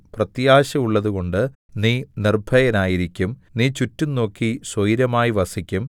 പ്രത്യാശയുള്ളതുകൊണ്ട് നീ നിർഭയനായിരിക്കും നീ ചുറ്റും നോക്കി സ്വൈരമായി വസിക്കും